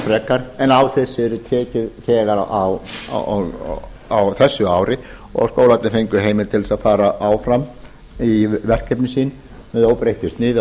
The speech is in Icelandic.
frekar en á þessu yrði tekið þegar á þessu ári og skólarnir fengu heimild til að fara áfram í verkefni sín með óbreyttu sniði á